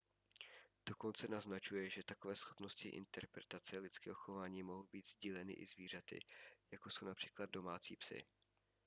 dokonce naznačuje že takové schopnosti interpretace lidského chování mohou být sdíleny i zvířaty jako jsou např domácí psi